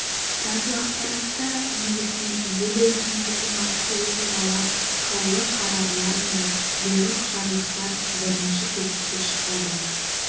радиоақпаратта негізінен ел өміріндегі маңызды оқиғалар қаулы қарарлар мен бұйрық жарлықтар бірінші кезекке шығады